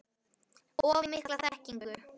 Of mikla þekkingu?